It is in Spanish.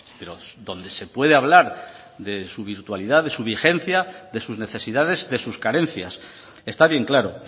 pero donde se puede hablar de su virtualidad de su vigencia de sus necesidades de sus carencias está bien claro